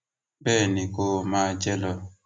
bẹẹ ni kó o máa jẹ lọ